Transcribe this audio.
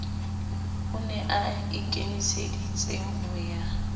o ne aikemiseditse ho ya